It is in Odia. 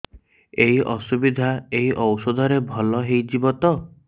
ଏଇ ଅସୁବିଧା ଏଇ ଔଷଧ ରେ ଭଲ ହେଇଯିବ ତ